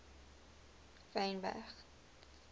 wynberg